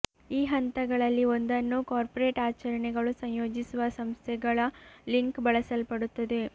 ಈ ಹಂತಗಳಲ್ಲಿ ಒಂದನ್ನು ಕಾರ್ಪೊರೇಟ್ ಆಚರಣೆಗಳು ಸಂಯೋಜಿಸುವ ಸಂಸ್ಥೆಗಳ ಲಿಂಕ್ ಬಳಸಲ್ಪಡುತ್ತದೆ